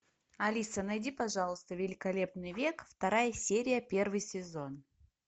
алиса найди пожалуйста великолепный век вторая серия первый сезон